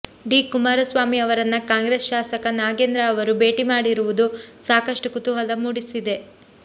D Kumaraswamy ಅವರನ್ನ ಕಾಂಗ್ರೆಸ್ ಶಾಸಕ ನಾಗೇಂದ್ರ ಅವರು ಭೇಟಿ ಮಾಡಿರುವುದು ಸಾಕಷ್ಟು ಕುತೂಹಲ ಮೂಡಿಸಿದೆ